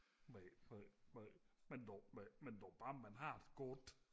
men dog men dog bare man har det godt